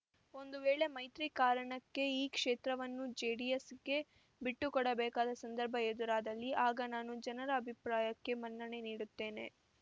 ಒಂದು ವೇಳೆ ಮೈತ್ರಿ ಕಾರಣಕ್ಕೆ ಈ ಕ್ಷೇತ್ರವನ್ನು ಜೆಡಿಎಸ್‌ಗೆ ಬಿಟ್ಟುಕೊಡಬೇಕಾದ ಸಂದರ್ಭ ಎದುರಾದಲ್ಲಿ ಆಗ ನಾನು ಜನರ ಅಭಿಪ್ರಾಯಕ್ಕೆ ಮನ್ನಣೆ ನೀಡುತ್ತೇನೆ